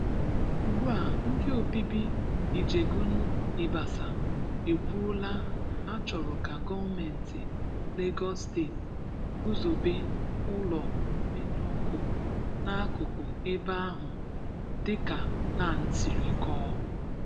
Ugbu a, ndị obibi Ìjègún Ìbàsà ekwùòlá na ha chọ̀rọ̀ ka gọ̀mentị Lágọ́s Steeti guzòbé ụlọ mmènyụ ọ̀kụ̀ n'akụkụ ebe ahụ dị ka NAN sịrị kọọ."